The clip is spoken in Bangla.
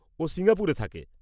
ও সিঙ্গাপুরে থাকে।